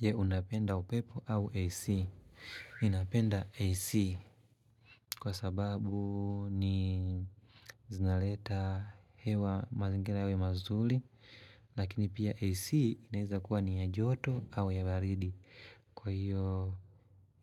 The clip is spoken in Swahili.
Je unapenda upepo au AC, ninapenda AC kwa sababu zinaleta hewa mazingira yawe mazuli Lakini pia AC inaeza kuwa ni ya joto au ya baridi Kwa hiyo